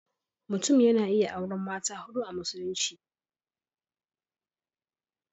Mutum yana iya auren mata huɗu a Musulunci.